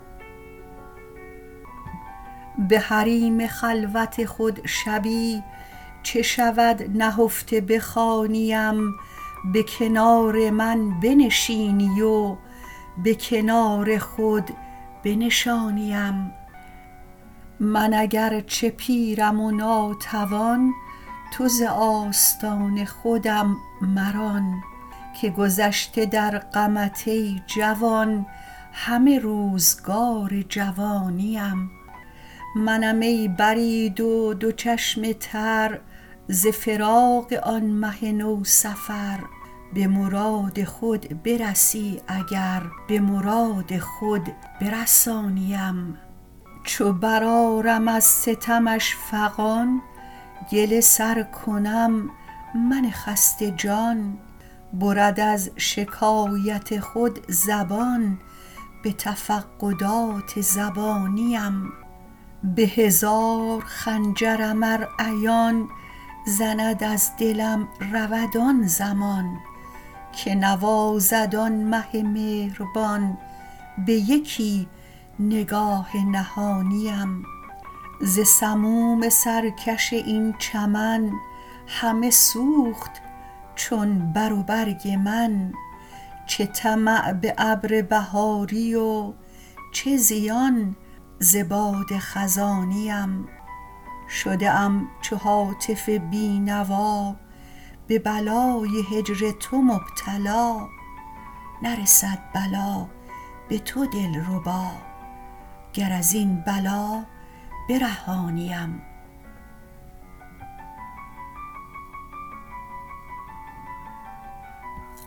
به حریم خلوت خود شبی چه شود نهفته بخوانیم به کنار من بنشینی و به کنار خود بنشانیم من اگر چه پیرم و ناتوان تو ز آستان خودم مران که گذشته در غمت ای جوان همه روزگار جوانیم منم ای برید و دو چشم تر ز فراق آن مه نوسفر به مراد خود برسی اگر به مراد خود برسانیم چو برآرم از ستمش فغان گله سر کنم من خسته جان برد از شکایت خود زبان به تفقدات زبانیم به هزار خنجرم ار عیان زند از دلم رود آن زمان که نوازد آن مه مهربان به یکی نگاه نهانیم ز سموم سرکش این چمن همه سوخت چون بر و برگ من چه طمع به ابر بهاری و چه زیان ز باد خزانیم شده ام چو هاتف بینوا به بلای هجر تو مبتلا نرسد بلا به تو دلربا گر از این بلا برهانیم